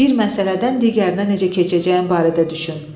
Bir məsələdən digərinə necə keçəcəyin barədə düşün.